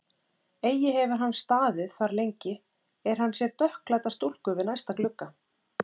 Eigi hefur hann staðið þar lengi, er hann sér dökkklædda stúlku við næsta glugga.